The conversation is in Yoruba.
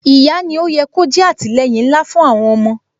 Ìyá ni ó yẹ kó jẹ́ àtìleyìn ńlá fún àwọn ọmọ